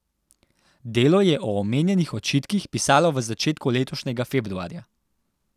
Delo je o omenjenih očitkih pisalo v začetku letošnjega februarja.